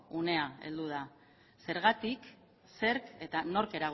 unea heldu da zergatik zerk eta nork